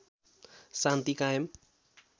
शान्ति कायम